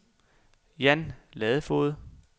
Jan Ladefoged